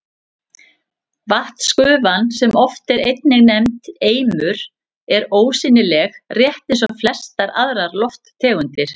Vatnsgufan, sem oft er einnig nefnd eimur, er ósýnileg, rétt eins og flestar aðrar lofttegundir.